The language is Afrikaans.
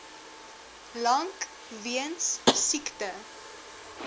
lank weens siekte